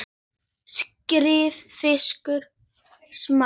Skerið fiskinn smátt.